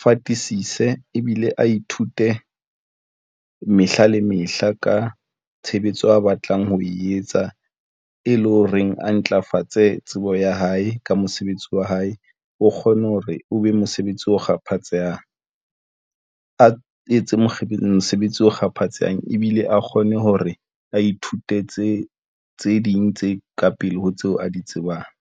fatisise ebile a ithute mehla le mehla ka tshebetso a batlang ho e etsa, e leng ho reng a ntlafatse tsebo ya hae ka mosebetsi wa hae, o kgone hore o be mosebetsi o kgaphatsehang, a etse mosebetsi o kgaphatsehang ebile a kgone hore a ithutetse tse ding tse ka pele ho tseo a di tsebang.